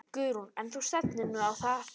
Guðrún: En þú stefnir nú á það?